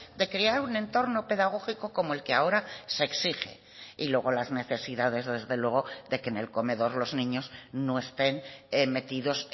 de crear un entorno pedagógico como el que ahora se exige y luego las necesidades desde luego de que en el comedor los niños no estén metidos